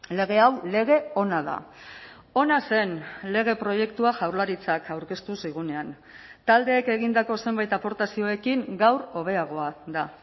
lege hau lege ona da ona zen lege proiektua jaurlaritzak aurkeztu zigunean taldeek egindako zenbait aportazioekin gaur hobeagoa da